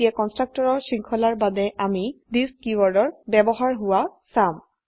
এতিয়া কন্সট্ৰকটৰৰ শৃঙ্খলাৰ বাবে আমি থিচ কীওয়াৰ্ডেৰ ব্যবহাৰ হোৱা চাম